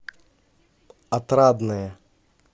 отрадное